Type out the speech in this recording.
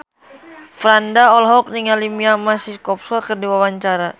Franda olohok ningali Mia Masikowska keur diwawancara